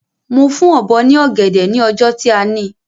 Mo fún Ọ̀bọ́ ní ọ̀gẹ̀dẹ̀ ni ọjọ́ tí a ni